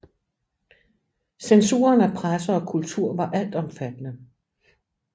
Censuren af presse og kultur var altomfattende